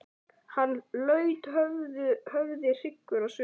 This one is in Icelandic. Hann laut höfði hryggur á svip.